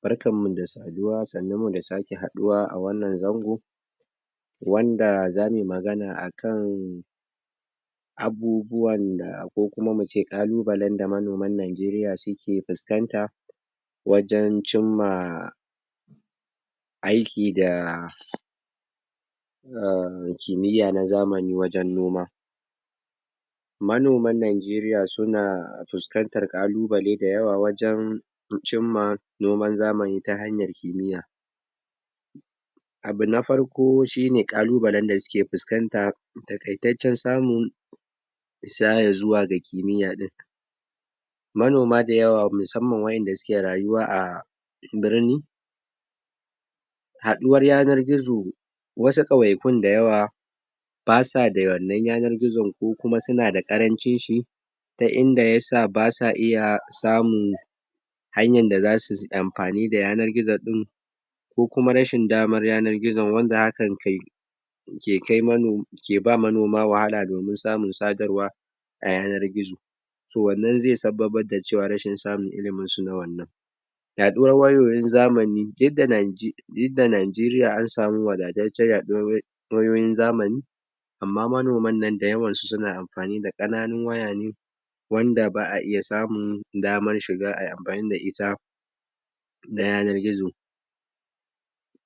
Barkan mu da saduwa. Sannun mu sake haɗuwa a a wannan zango. wanda zamu yi magana akan abubuwan da ko kuma mu ce ƙalubalen da manoman najeriya suke fuskanta wajen cimma aiki da um kimiya na zamanni wajen noma manoman najeriya suna fuskantar ƙalubale dayawa wajen cimma noman zamani ta hanyar kimiya Abu na farko shine ƙalubalen da suke fuskanta taƙaitaccen samun isa ya zuwa ga kimiya ɗin manona dayawa musamman wa'inda suke rayuwa a birni haɗuwar yanar gizo wasu ƙauyakun dayawa basa da wannan yanar gizon ko kuma suna da ƙarancin shi ta inda yasa basa iya samun hanyan da zasu yi amfani da yanay gizo ɗin kko kuma rashin damar yanar gizon wanda hankan? ke ba manoma wwahala domin samun sadarwa a yanar gizo to wannan zai sabbabar da cewa rashin samun ilimi su na wannan Yaɗuwar wayoyin zamani? duk da najeriya an samu wadataccen yaɗuwar? wayoyin zamani amma manoman nan dayawan su suna amfani da ƙananun waya ne wanda ba a iya samun damar shiga ayi amfani da ita da yanar gizo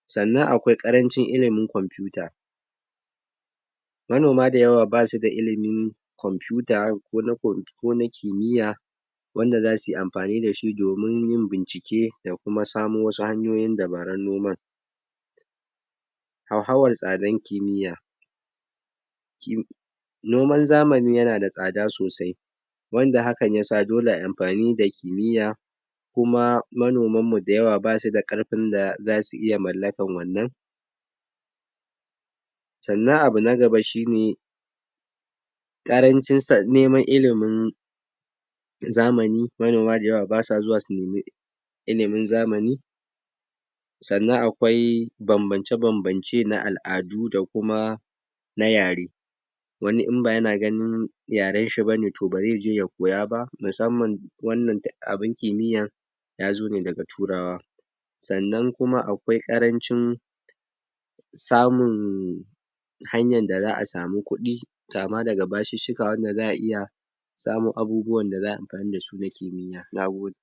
sannan akwai ƙarancin ilimin kwamfuta manoma dayawa basu da ilimin kwamfuta ko na kimiya wanda zasu yi amfani da shi domin yin bincike da kuma samo wasu hanyoyin dabarun yin noman Hauhawar tsadan kimiya? noman zamani yana da tsada sosai wanda hakan yasa dole ayi amfani da kimiya kuma manoman mu dayawa basu da ƙarfin da zasu iya mallakan wannan Sannan abu na gaba shine ƙarancin? neman ilimin zamani. Manoma dayawa ba sa zuwa su nemi ilimin zamani sannan akwai bambance-bambance na al'adu da kuma na yare wani in ba yana ganin yaren shi bane to ba zai je ya koya ba musamman wannan abun kimiyan ya zo ne daga turawa sannan kuma akwai ƙarancin samun hanyan da za a samu kudi kama daga basussuka wanda za a iya samo abubuwa da za ayi amfani da su na kimiya. Nagode.